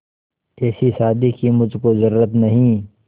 ऐसी शादी की मुझको जरूरत नहीं